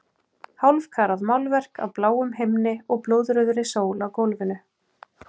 Hálfkarað málverk af bláum himni og blóðrauðri sól á gólfinu.